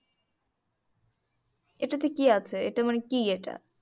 এটাতে কি আছে? এটা মানে কি এটা